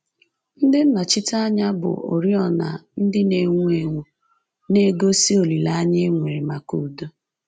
Ndị nnọchiteanya bu oriọna ndị na-enwu enwu — na-egosi olileanya e nwere maka udo